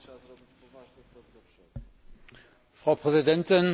Frau Präsidentin, Herr Kommissar Füle, liebe Kolleginnen und Kollegen!